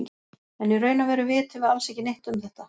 En í raun og veru vitum við alls ekki neitt um þetta.